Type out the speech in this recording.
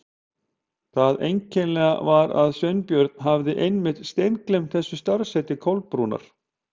Það einkennilega var að Sveinbjörn hafði einmitt steingleymt þessu starfsheiti Kolbrúnar.